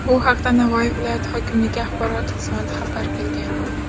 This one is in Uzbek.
Bu haqda Navoiy viloyati hokimligi axborot xizmati xabar qilgan .